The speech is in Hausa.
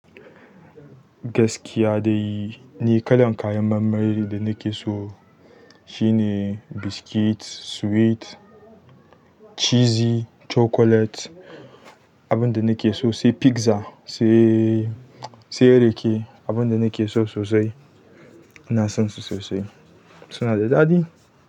Gaskiya dai ni kalan kayan marmari da nake so shine biscuits, sweet, cheesy chocolate, abun da nake so se pizza se rake abun da nake so sosai, ina son su sosai. Suna da daɗi.